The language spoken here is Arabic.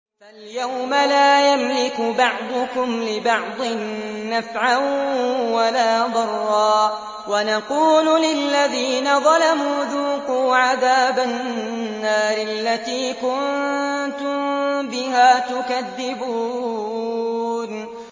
فَالْيَوْمَ لَا يَمْلِكُ بَعْضُكُمْ لِبَعْضٍ نَّفْعًا وَلَا ضَرًّا وَنَقُولُ لِلَّذِينَ ظَلَمُوا ذُوقُوا عَذَابَ النَّارِ الَّتِي كُنتُم بِهَا تُكَذِّبُونَ